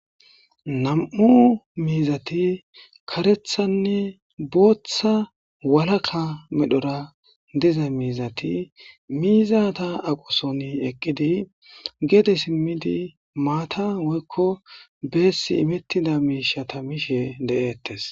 nam7u miizati karethanne booththa walaka medhora diza miizati miiza ta aqoson eqqidi gede simmidi maata woykko beessi imettida miishata mishe de7eettes